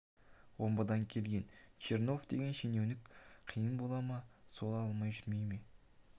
омбыдан келген чернов деген шенеунік қиын бола ма сол алмай жүре ме